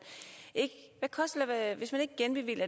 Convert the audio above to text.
ikke genbevilger